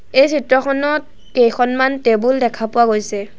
এই চিত্ৰখনত কেইখনমান টেবুল দেখা পোৱা গৈছে।